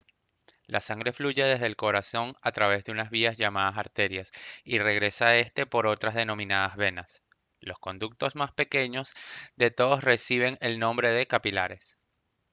la sangre fluye desde el corazón a través de unas vías llamadas arterias y regresa a éste por otras denominadas venas los conductos más pequeños de todos reciben el nombre de capilares